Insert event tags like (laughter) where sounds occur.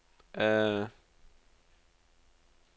(hesitation)